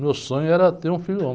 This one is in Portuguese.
Meu sonho era ter um filho.